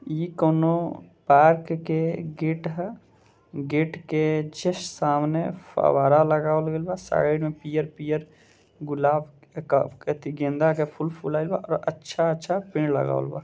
ई कोनो पार्क के गेट ह गेट के जस्ट सामने फुआरा लगावल गइल बा |साइड में पियर - पियर गुलाब क अ गेंदा के फूल फुलाइल बा अच्छा-अच्छा अच्छा पेड़ लगावल बा।